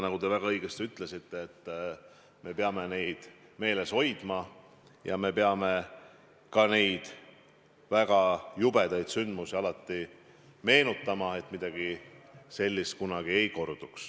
Nagu te väga õigesti ütlesite, me peame neid meeles hoidma, me peame neid väga jubedaid sündmusi alati meenutama, ja ka sellepärast, et midagi sellist kunagi ei korduks.